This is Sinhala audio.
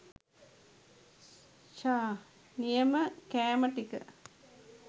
ෂහ් නියම කෑම ටික.